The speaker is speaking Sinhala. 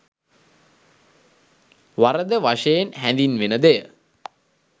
වරද වශයෙන් හැඳින්වෙන දෙය